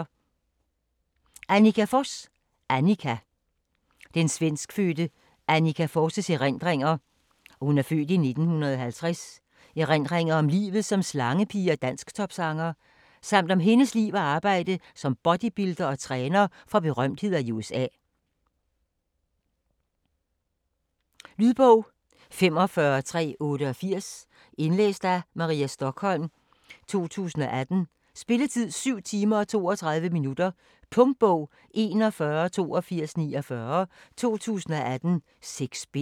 Forss, Anniqa: Anniqa Den svenskfødte Anniqa Forss' (f. 1950) erindringer om livet som slangepige og dansktopsanger, samt om hendes liv og arbejde som bodybuilder og træner for berømtheder i USA. Lydbog 45388 Indlæst af Maria Stokholm, 2018. Spilletid: 7 timer, 32 minutter. Punktbog 418249 2018. 6 bind.